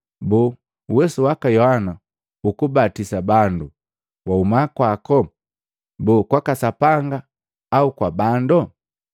boo, uwesu waka Yohana lukubatisa bandu lwahuma kwako? Boo, kwaka Sapanga au kwa bandu?”